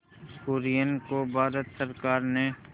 कुरियन को भारत सरकार ने